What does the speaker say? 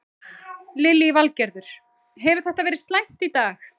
Lillý Valgerður: Hefur þetta verið slæmt í dag?